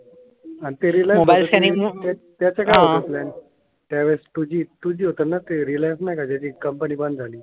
त्यावेळेस two G two G होतना? ते रिलायन्स नाही का त्याची कंपनी बंद झाली.